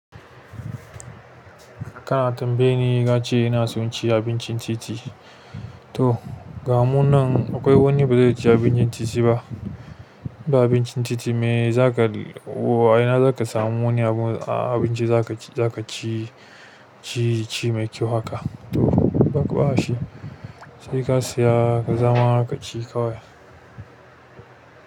Kana tambaye ni nace ina son ci abincin titi? To ga mun nan akwai wani ba zaici abincin titi ba. Inba abincin titi me zaka o a ina zaka samu wani abu a abinci zaka ci, zaka ci, ci, ci mai kyau haka? To ba ka ba da shi. Sai ka saya ka zama haka ci kawai.